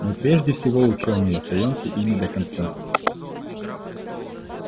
мы прежде всего учёные и останемся ими до конца